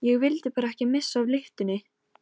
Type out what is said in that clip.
Ég vildi bara ekki missa af lyftunni!